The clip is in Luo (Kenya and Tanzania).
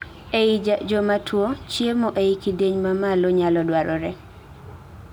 ei jomatuo, chiemo ei kidieny ma malo nyalo dwarore